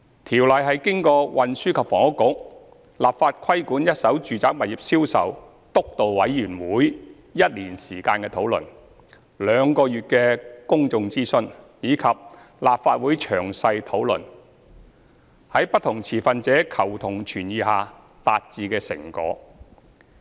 《條例》是經過運輸及房屋局"立法規管一手住宅物業銷售督導委員會 "1 年討論、兩個月公眾諮詢，以及立法會詳細討論，在不同持份者求同存異下達致的成果。